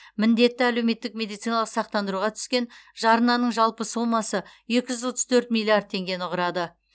міндетті әлеуметтік медициналық сақтандыруға түскен жарнаның жалпы сомасы екі жүз отыз төрт миллиард теңгені құрады